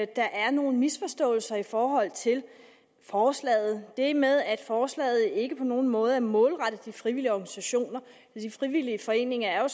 der er nogle misforståelser i forhold til forslaget det med at forslaget ikke på nogen måde er målrettet de frivillige organisationer de frivillige foreninger er jo